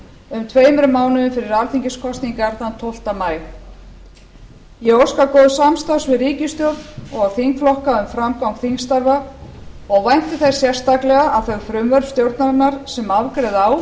um tveimur mánuðum fyrir alþingiskosningarnar tólfta maí ég óska góðs samstarfs við ríkisstjórn og þingflokka um framgang þingstarfa og vænti þess sérstaklega að þau frumvörp stjórnarinnar sem afgreiða á